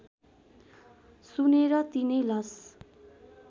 सुनेर तिनै लस